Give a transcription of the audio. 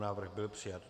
Návrh byl přijat.